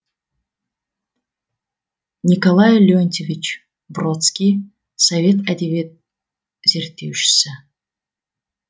николай леонтьевич бродский совет әдебиет зерттеушісі